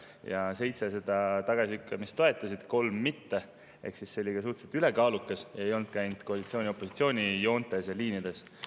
Seitse seda tagasilükkamist toetasid, kolm mitte, ehk see oli suhteliselt ülekaalukas ning see ei olnud koalitsiooni ja opositsiooni joontes ja liinides.